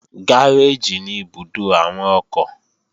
Gáréèjì ní ibùdó àwọn ọkọ̀